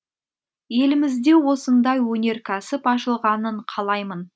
елімізде осындай өнеркәсіп ашылғанын қалаймын